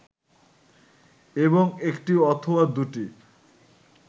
এবং একটি অথবা দুটি